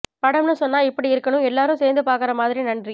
படம்னு சொன்னா இப்படி இருக்கணும் எல்லாரும் சேர்ந்து பார்க்கிற மாதிரி நன்றி